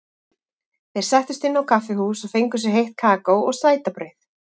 Þeir settust inn á kaffihús og fengu sér heitt kakó og sætabrauð.